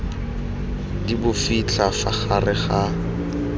di bofitlha fa gare ga